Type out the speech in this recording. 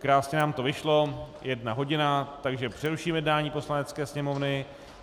Krásně nám to vyšlo, jedna hodina, takže přeruším jednání Poslanecké sněmovny.